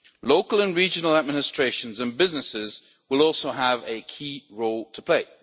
Local and regional administrations and businesses will also have a key role to play.